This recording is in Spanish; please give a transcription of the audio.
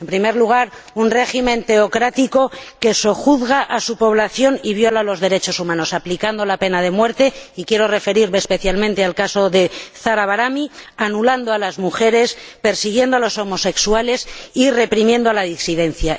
En primer lugar, un régimen teocrático que sojuzga a su población y viola los derechos humanos, aplicando la pena de muerte —y quiero referirme especialmente al caso de Zarah Bahrami—, anulando a las mujeres, persiguiendo a los homosexuales y reprimiendo la disidencia.